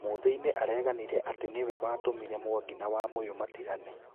Muthĩ i nĩ aareganire atĩ nĩwe watũmire Mwangi na Wamuyu matigane